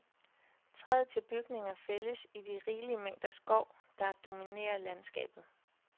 Træet til bygninger fældes i de rigelige mængder skov, der dominerer landskabet.